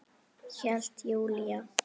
Hélt Júlía.